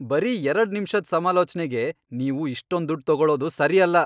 ಬರೀ ಎರಡ್ ನಿಮ್ಷದ್ ಸಮಾಲೋಚ್ನೆಗೆ ನೀವು ಇಷ್ಟೊಂದ್ ದುಡ್ಡ್ ತೊಗೊಳೋದ್ ಸರಿ ಅಲ್ಲ.